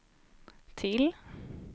till